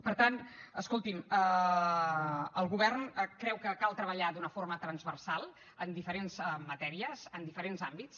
per tant escolti’m el govern creu que cal treballar d’una forma transversal en diferents matèries en diferents àmbits